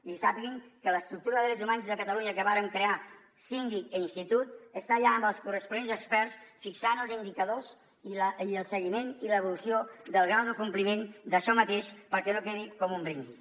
i sàpiguen que l’estructura de drets humans de catalunya que vàrem crear síndic i institut està ja amb els corresponents experts fixant els indicadors i el seguiment i l’evolució del grau de compliment d’això mateix perquè no quedi com un brindis